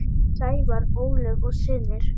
Sævar, Ólöf og synir.